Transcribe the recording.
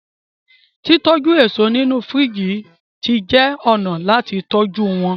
titoju eso nínú firiji tí jé ọnà láti tọjú wón.